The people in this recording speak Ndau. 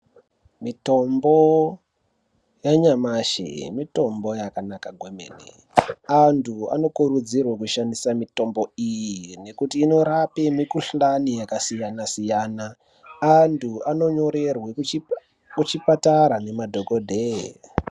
Mitombo yanyamashi mitombo yakanaka kwemene. Antu anokurudzirwa kushandisa mitombo iyi nekuti inorape mikhuhlani yakasiyana siyana. Antu anonyorerwa kuchipatara ngemadhokodheya.